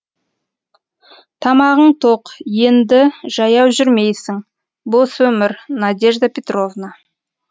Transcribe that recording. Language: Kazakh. тамағың тоқ енді жаяу жүрмейсің бос өмір надежда петровна